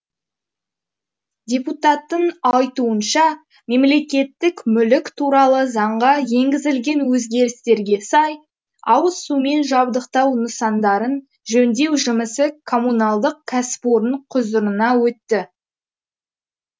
депутаттың айтуынша мемлекеттік мүлік туралы заңға енгізілген өзгерістерге сай ауызсумен жабдықтау нысандарын жөндеу жұмысы коммуналдық кәсіпорын құзырына өтті